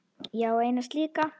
Ég á eina slíka.